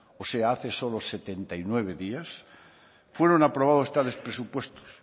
o sea hace solo setenta y nueve días fueron aprobados tales presupuestos